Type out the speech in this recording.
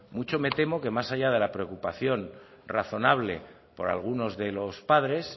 mucho me temo que más allá de la preocupación razonable por algunos de los padres